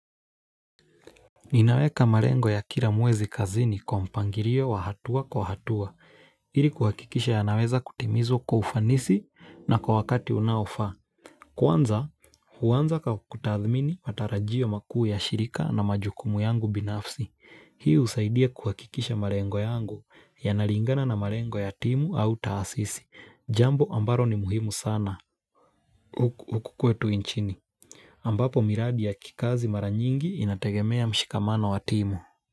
Ninaweka malengo ya kila mwezi kazini kwa mpangilio wa hatua kwa hatua, ili kuhakikisha yanaweza kutimizwa kwa ufanisi na kwa wakati unaofaa. Kwanza, huanza kwa kutathmini matarajio makuu ya shirika na majukumu yangu binafsi. Hii husaidia kuhakikisha malengo yangu yanalingana na malengo ya timu au taasisi. Jambo ambalo ni muhimu sana. Huku kwetu nchini. Ambapo miradi ya kikazi mara nyingi inategemea mshikamano wa timu.